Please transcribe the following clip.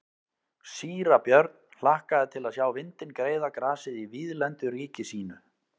Síra Björn hlakkaði til að sjá vindinn greiða grasið í víðlendu ríki sínu.